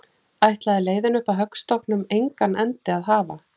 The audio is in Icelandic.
Ætlaði leiðin upp að höggstokknum engan endi að hafa?